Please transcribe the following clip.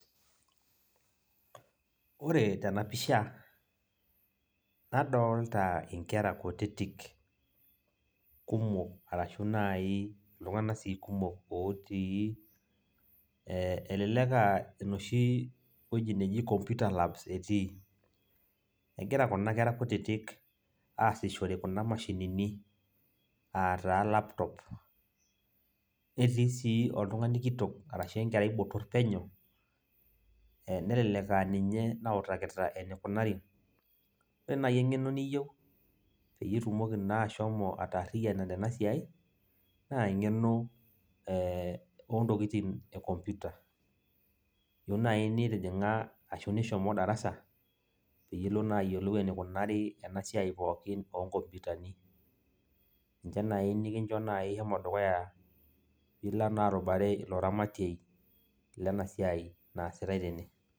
Ore tenapisha, nadolta inkera kutitik, kumok arashu nai iltung'anak si kumok otii, elelek ah enoshi woji neji computer lab etii. Egira kuna kera kutitik asishore kuna mashinini, ataa laptop. Netii si oltung'ani kitok, arashu enkerai botor penyo, nelelek aninye nautakita enikunari. Ore nai eng'eno niyieu, peyie itumoki naa ashomo ataarriyiana tenasiai, naa eng'eno ontokiting e computer. Iyieu nai nitijing'a ashu nishomo darasa, pilo naa ayiolou enikunari enasiai pookin onkompitani. Ninche nai nikincho nai shomo dukuya, nilo naa arubare ilo ramatiei, lenasiai naasitai tene.